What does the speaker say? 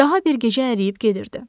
Daha bir gecə əriyib gedirdi.